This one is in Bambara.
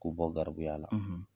K'u bɔ garibuya la